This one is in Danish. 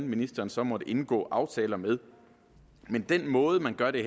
ministeren så måtte indgå aftaler med men den måde man gør det